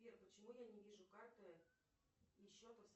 сбер почему я не вижу карты и счета